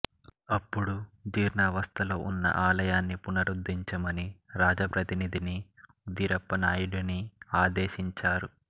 అప్పుడు జీర్ణావస్థలో ఉన్న ఆలయాన్ని పునరుద్ధరించమని రాజప్రతినిధి ఉదిరప్పనాయుడుని ఆదేశించారు